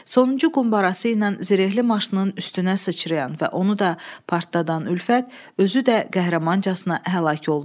Sonuncu qumbarası ilə zirehli maşının üstünə sıçrayan və onu da partladan Ülfət özü də qəhrəmancasına həlak oldu.